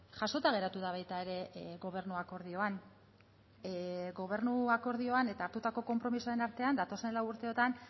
jasota geratu da baita ere gobernu akordioan gobernu akordioan eta hartutako konpromisoen artean datozen lau urteotan